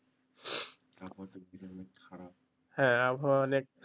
হ্যাঁ আবহাওয়া অনেক